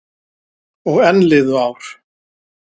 Og enn liðu ár.